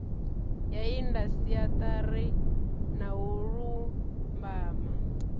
ya indasiṱeri na u lumbama